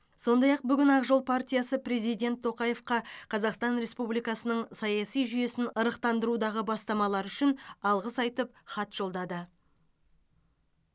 сондай ақ бүгін ақ жол партиясы президент тоқаевқа қазақстан республикасының саяси жүйесін ырықтандырудағы бастамалары үшін алғыс айтып хат жолдады